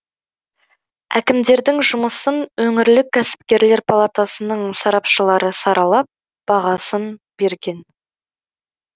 әкімдердің жұмысын өңірлік кәсіпкерлер палатасының сарапшылары саралап бағасын берген